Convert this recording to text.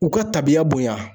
U kɛ tabiya bonya.